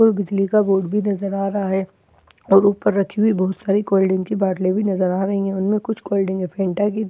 और बिजली का बोर्ड भी नजर आ रहा है और ऊपर रखी हुई बहुत सारी कोल्ड ड्रिंक की बोतलें भी नजर आ रही है उनमें कुछ कोल्ड ड्रिंक हैं फैंटा की।